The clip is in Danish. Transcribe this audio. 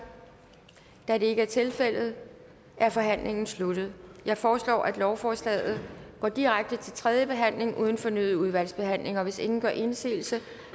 da det ikke er tilfældet er forhandlingen sluttet jeg foreslår at lovforslaget går direkte til tredje behandling uden fornyet udvalgsbehandling hvis ingen gør indsigelse